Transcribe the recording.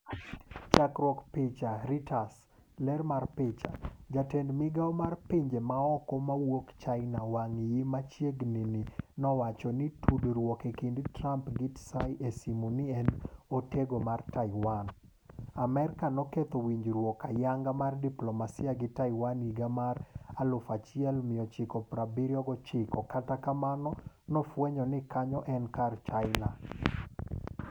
Chakruok picha, Reuters . ler mar picha, Jatend migao mar pinje maoko mawuok China Wang Yi machiegni ni nowacho ni tudruok e kind Trump gi Tsai e simu ni en "otego"mar Taiwan. Amerka noketho winjruokgi ayanga mar diplomasia gi Taiwan higa 1979 kata kamano nofwenyo ni kanyo en kar China.